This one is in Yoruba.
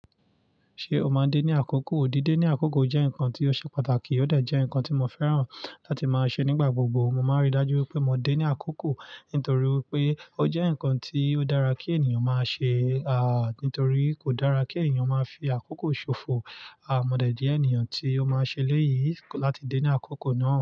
Ṣé o máa ń dé ní àkókò? Ó di dé ní àkókò jẹ́ nǹkan tí ó ṣe pàtàkì, ó dà jẹ́ nǹkan tí mo fẹ́ràn láti máa ṣe nígbà gbogbo. Mo máa ń rí i dájú pé mo dé ní àkókò nítorí pé ó jẹ́ nǹkan tí ó dára kí ènìyàn máa ṣe, à nítorí kò dára kí ènìyàn máa fi àkókò ṣòfò. A, modẹ̀ jẹ́ ẹniyàn tí ó máa ṣe eléyìí láti dé ní àkókò náà.